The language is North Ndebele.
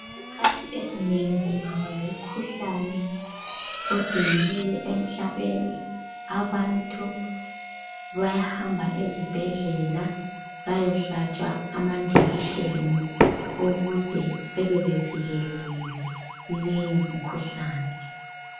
Izikhathi ezinengi kungaba lomkhuhlane, odumileyo emhlabeni. Abantu bayahamba ezibhedlela bayohlatshwa amanjekisheni ukuze bebebevikelekile kuleyo mikhuhlane.